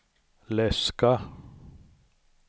läska